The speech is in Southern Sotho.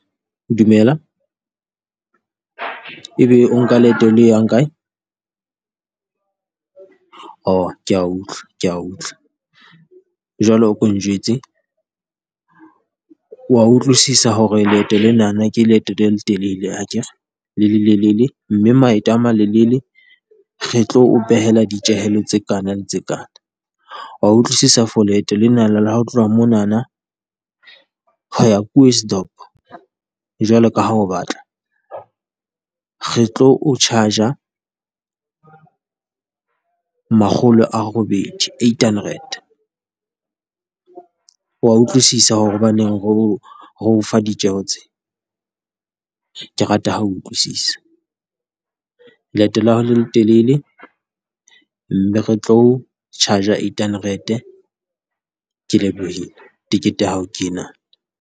Dumela. Ebe o nka leeto le yang kae? Kea utlwa kea utlwa jwale o ko o njwetse, wa utlwisisa hore leeto lenana ke leeto le letelele hakere? Le lelele mme maeto a malelele re tlo o behela ditjehelo tse kana, le tse kana, wa utlwisisa for leeto lenana la ho tloha monana ho ya jwalo ka ha o batla, re tlo o charge-a makgolo a robedi, eight hundred? Wa utlwisisa hore hobaneng re ho re ho fa ditjeho tse? Ke rata ha utlwisisa, leeto la hao le letelele mme re tlo charge-a eight hundred-e. Ke lebohile. Tekete ya hao ke ena.